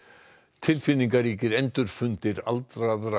tilfinningaríkir endurfundir aldraðra